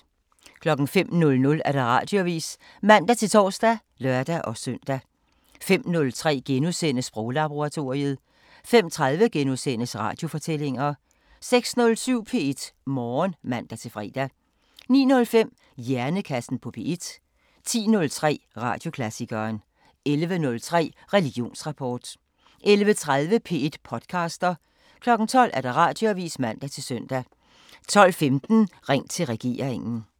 05:00: Radioavisen (man-tor og lør-søn) 05:03: Sproglaboratoriet * 05:30: Radiofortællinger * 06:07: P1 Morgen (man-fre) 09:05: Hjernekassen på P1 10:03: Radioklassikeren 11:03: Religionsrapport 11:30: P1 podcaster 12:00: Radioavisen (man-søn) 12:15: Ring til regeringen